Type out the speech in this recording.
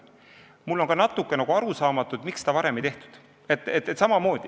Mulle on ka natuke arusaamatu, miks seda varem ei tehtud.